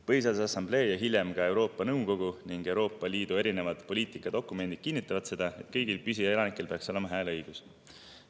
Põhiseaduse Assamblee ja hiljem ka Euroopa Nõukogu ning Euroopa Liidu erinevad poliitikadokumendid kinnitavad, et kõigil püsielanikel peaks olema hääleõigus.